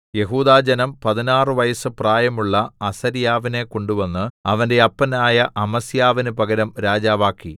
യെഹൂദാജനം പതിനാറു വയസ്സ് പ്രായമുള്ള അസര്യാവിനെ കൊണ്ടുവന്ന് അവന്റെ അപ്പനായ അമസ്യാവിന് പകരം രാജാവാക്കി